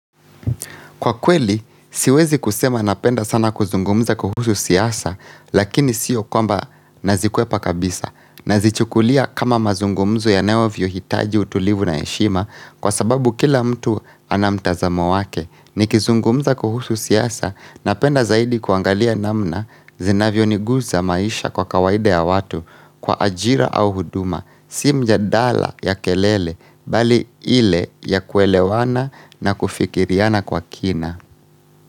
Kwa kweli, siwezi kusema napenda sana kuzungumza kuhusu siasa, lakini sio kwamba nazikwepa kabisa. Nazichukulia kama mazungumzo yanavyo hitaji utulivu na heshima kwa sababu kila mtu anamtazamo wake. Ni kizungumza kuhusu siasa, napenda zaidi kuangalia namna zinavyo nigusa maisha kwa kawaida ya watu kwa ajira au huduma. Si mjadala ya kelele bali ile ya kuelewana na kufikiriana kwa kina.